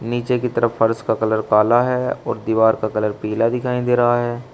नीचे की तरफ फर्श का कलर काला है और दीवार का कलर पीला दिखाई दे रहा है।